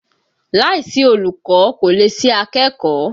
Láìsí olùkọ́ kò lè sí akẹ́kọ̀ọ́